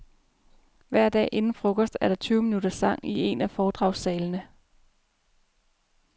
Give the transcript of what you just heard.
Hver dag inden frokost er der tyve minutters sang i en af foredragssalene.